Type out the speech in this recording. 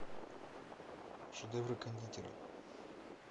шедевры кондитера